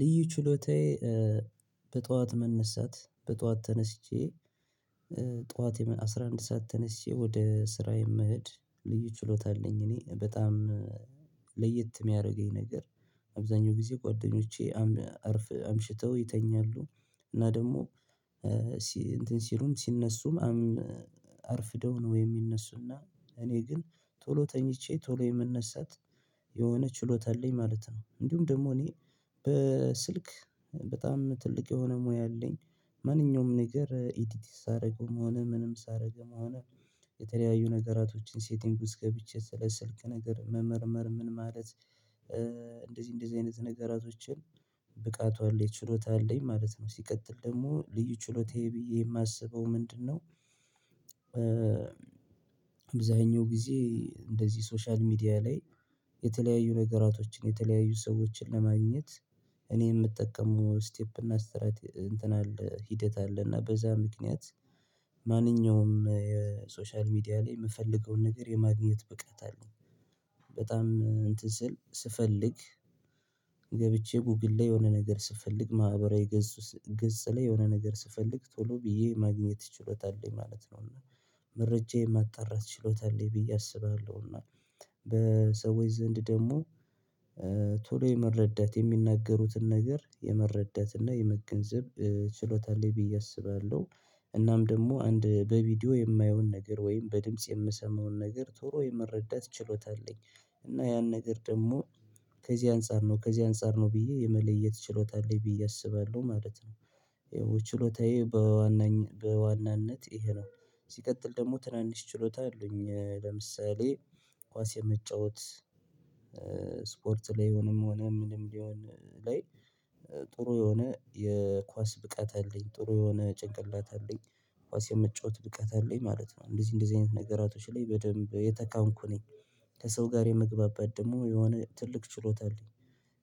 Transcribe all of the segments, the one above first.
ልዩ ችሎታዬ በጧዋት መነሳት በጧዋት ተነስቼ ጧት አስራ አንድ ሰዓት ተነስቼ ወደ ስራ የምሄድ ልዩ ችሎታ አለኝ። እኔ በጣም ለየት የሚያደርገኝ ነገር አብዛኛው ጊዜ ጓደኞቼ አምሽተው ይተኛሉ እና ደግሞ እንትን ሲሉም ሲነሱም አርፍደው ነው የሚነሱና እኔ ግን ቶሎ ተኝቼ ቶሎ የምነሳት የሆነ ችሎታ አለኝ ማለት ነው። እንዲሁም ደግሞ እኔ በስልክ በጣም ትልቅ የሆነ ሙያ አለኝ። ማንኛውም ነገር ኤዲቲንግ ሳደርግም ሆነ ምንም ሳደርግም ሆነ የተለያዩ ነገራቶችን ሴቲንግ ውስጥ ገብቼ ስለ ስልክ ነገር መመርመር ምን ማለት እንደዚህ እንደዚህ አይነት ነገሮችን ብቃቱ አለኝ ችሎታ አለኝ ማለት ነው። ሲቀጥል ደግሞ ልዩ ችሎታዬ ብዬ የማስበው ምንድነው? ባብዛኛው ጊዜ እንደዚህ ሶሻል ሚዲያ ላይ የተለያዩ ነገራቶችን የተለያዩ ሰዎችን ለማግኘት እኔ የምጠቀመው ስቴፕ እና ስትራቴጂ እንትን አለ ሂደት አለ እና በዛ ምክንያት ማንኛውም የሶሻል ሚዲያ ላይ የምፈልገውን ነገር የማግኘት ብቃት አለኝ። በጣም እንትን ስል ስፈልግ ገብቼ ጎግል ላይ የሆነ ነገር ስፈልግ ማህበራዊ ገጽ ላይ የሆነ ነገር ስፈልግ ቶሎ ብዬ ማግኘት ችሎታ አለኝ ማለት ነው። እና መረጃዬን ማጣራት ችሎታ አለኝ ብዬ አስባለሁ እና በሰዎች ዘንድ ደግሞ ቶሎ የመረዳት የሚናገሩትን ነገር የመረዳት እና የመገንዘብ ችሎታ ላይ ብዬ አስባለሁ። እናም ደግሞ አንድ በቪዲዮ የማየውን ነገር ወይም በድምጽ የምሰማውን ነገር ቶሎ የመረዳት ችሎታ አለኝ። እና ያን ነገር ደግሞ ከዚህ አንፃር ነው ከዚህ አንፃር ነው ብዬ የመለየት ችሎታ አለኝ ብዬ አስባለሁ ማለት ነው። ይኸው ችሎታዬ በዋናነት ይሄ ነው። ሲቀጥል ደግሞ ትናንሽ ችሎታ አለኝ ለምሳሌ ኳስ የመጫወት ስፖርት ላይ ሆኖም ሆኖ ምንም ቢሆን ላይ ጥሩ የሆነ የኳስ ብቃት አለኝ ጥሩ የሆነ ጭንቅላት አለኝ ኳስ የምጫወት ብቃት አለኝ ማለት ነው። እንደዚህ እንደዚህ አይነት ነገራቶች ላይ በደንብ የተካንኩ ነኝ። ከሰው ጋር የመግባባት ደግሞ የሆነ ትልቅ ችሎታ አልኝ።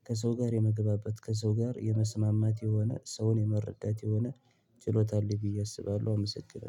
ከሰው ጋር የመግባባት ከሰው ጋር የመስማማት የሆነ ሰውን የመረዳት የሆነ ችሎታ አለኝ ብዬ አስባለሁ። አመሰግናለሁ